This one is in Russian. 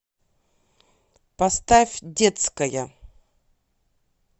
поставь детская